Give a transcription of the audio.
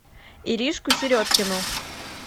иришку середкину